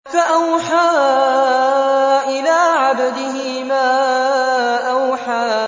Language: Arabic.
فَأَوْحَىٰ إِلَىٰ عَبْدِهِ مَا أَوْحَىٰ